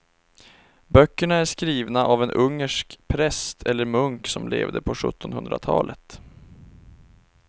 Böckerna är skrivna av en ungersk präst eller munk som levde på sjuttonhundratalet.